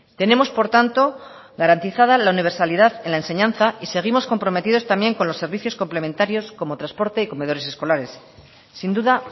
tenemos por tanto garantizada la universalidad en la enseñanza y seguimos comprometidos también con los servicios complementarios como transporte y comedores escolares sin duda